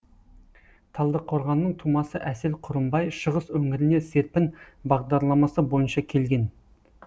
талдықорғанның тумасы әсел құрымбай шығыс өңіріне серпін бағдарламасы бойынша келген